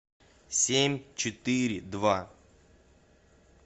семь четыре два